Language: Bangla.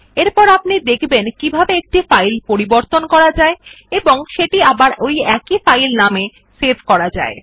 এরপর আপনি দেখবেন কিভাবে একটি ফাইল পরিবর্তন করা যায় এবং এটি আবার ওই একই ফাইল নামে সেভ করা যায়